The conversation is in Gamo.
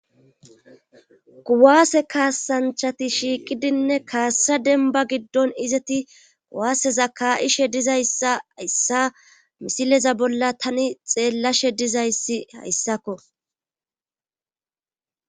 kuwaase kaasanchati shiiqidinne kaassa denba giddon izeti kuwaaseza ka7ishe dizayssa hyssa misileza bolla tani xeellashe dizayssi hayssakko